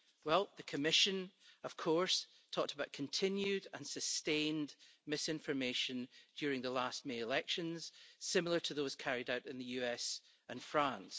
Well, the Commission, of course, talked about continued and sustained misinformation during the last May elections, similar to those carried out in the US and France.